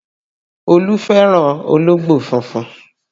Olú fẹ́ràn ológbò funfun